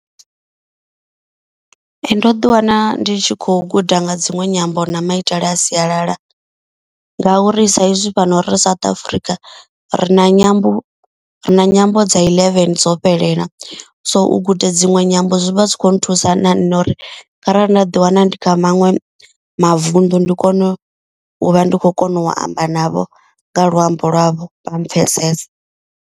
Ndo ḓi wana ndi tshi kho guda nga dzinwe nyambo na maitele a sialala. Ngauri saizwi fhano ri South Africa ri na nyambo ri na nyambo dza eleven dzo fhelela. So u guda dziṅwe nyambo zwi vha zwi kho nthusa na nṋe uri kharali nda ḓi wana ndi kha maṅwe mavuṋdu. Ndi kone u vha ndi khou kona u amba navho nga luambo lwavho vha mpfesese.